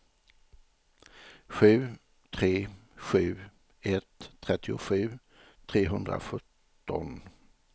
sju tre sju ett trettiosju trehundrasjutton